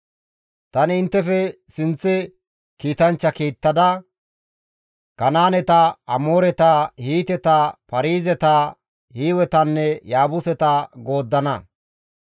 Tani inttefe sinththara kiitanchcha kiittada, Kanaaneta, Amooreta, Hiiteta, Paarizeta, Hiiwetanne Yaabuseta gooddana.